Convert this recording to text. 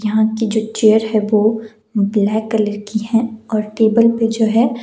यहां की जो चेयर है वो ब्लैक कलर की है और टेबल पर जो है--